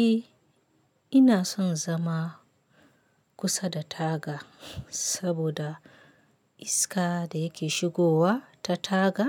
Eh ina son zama kusa da taga, saboda iska da yake shigowa ta taga